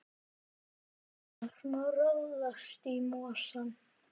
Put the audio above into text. Hvenær má ráðast í mosann?